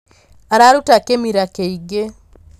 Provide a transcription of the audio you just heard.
Araruta kĩmira kĩingĩ.